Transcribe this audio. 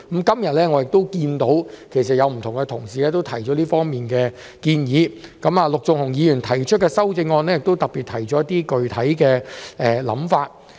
今天，我見到多位同事也提出這方面的建議，陸頌雄議員的修正案亦特別提出了一些具體想法。